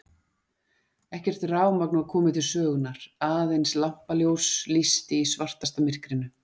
Ekkert rafmagn var komið til sögunnar, aðeins lampaljós lýsti í svartasta myrkrinu.